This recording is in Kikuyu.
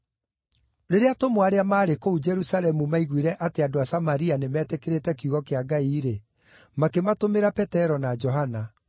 Rĩrĩa atũmwo arĩa maarĩ kũu Jerusalemu maiguire atĩ andũ a Samaria nĩmetĩkĩrĩte kiugo kĩa Ngai-rĩ, makĩmatũmĩra Petero na Johana.